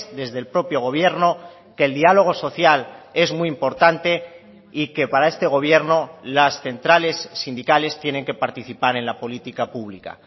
desde el propio gobierno que el diálogo social es muy importante y que para este gobierno las centrales sindicales tienen que participar en la política pública